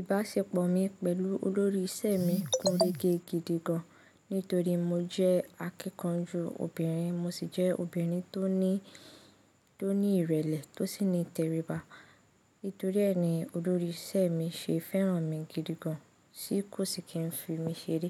Ìbáṣepọ̀ mi pẹ̀lú olórí ìṣẹ́ mi gúnre ge gidi gan, nítorí mo jẹ́ akíkanjú obìnrin, mo sì jẹ́ obìnrin tó ní, tó ní ìrẹ̀lẹ̀ tó sì ní tẹríba. Nítorí e ni, olórí ìṣẹ́ mi ṣe fẹ́ràn mi gidi gan, sí kò sì kí ń fi mi ṣeré.